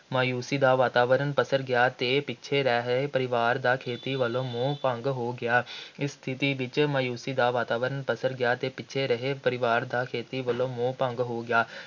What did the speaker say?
ਮਾਯੂਸ਼ੀ ਦਾ ਵਾਤਾਵਰਣ ਪਸਰ ਗਿਆ ਅਤੇ ਪਿੱਛੜ ਰਹਿ ਰਹੇ ਪਰਿਵਾਰ ਦਾ ਖੇਤੀ ਵੱਲੋਂ ਮੋਹ ਭੰਗ ਹੋ ਗਿਆ ਇਸ ਸਥਿਤੀ ਵਿੱਚ ਮਾਯੂਸ਼ੀ ਦਾ ਵਾਤਾਵਰਣ ਪਸਰ ਗਿਆ ਅਤੇ ਪਿੱਛੜ ਰਹੇ ਪਰਿਵਾਰ ਦਾ ਖੇਤੀ ਵੱਲੋਂ ਮੋਹ ਭੰਗ ਹੋ ਗਿਆ,